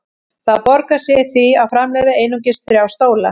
Það borgar sig því að framleiða einungis þrjá stóla.